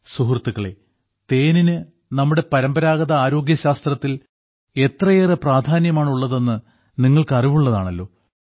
സുഹൃത്തുക്കളേ തേനിന് നമ്മുടെ പരമ്പരാഗത ആരോഗ്യശാസ്ത്രത്തിൽ എത്രയേറെ പ്രാധാന്യമാണുള്ളതെന്ന് നിങ്ങൾക്ക് അറിവുള്ളതാണല്ലോ